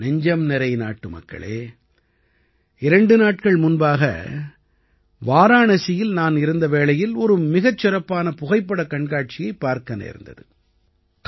என் நெஞ்சம்நிறை நாட்டுமக்களே இரண்டு நாட்கள் முன்பாக வாராணசியில் நான் இருந்த வேளையில் ஒரு மிகச் சிறப்பான புகைப்படக் கண்காட்சியைப் பார்க்க நேர்ந்தது